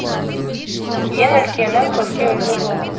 ең үлкені көпке үлгі болу